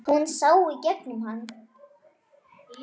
Hún sá í gegnum hann.